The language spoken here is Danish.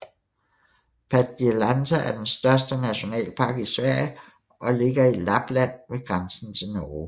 Padjelanta er den største nationalpark i Sverige og ligger i Lappland ved grænsen til Norge